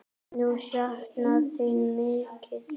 Þau sakna þín mikið.